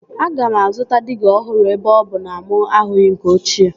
Aga m azụta diga ọhụrụ ebe ọ bụ na mụ ahụghị nke ochie